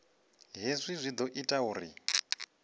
hezwi zwi ḓo ita uri